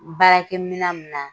Baarakɛ minɛn min na